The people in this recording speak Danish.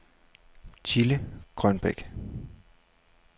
Thilde Grønbæk